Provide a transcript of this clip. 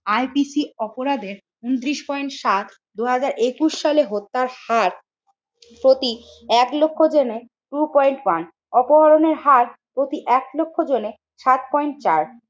IPC অপরাধের ঊনত্রিশ point সাত দুই হাজার একুশ সালে হত্যার হার প্রতি এক লক্ষ জনে টু পয়েন্ট ওয়ান, অপহরণের হার প্রতি এক লক্ষ জনে সাত পয়েন্ট চার,